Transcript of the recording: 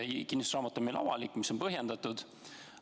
Kinnistusraamat on meil avalik, see on põhjendatud.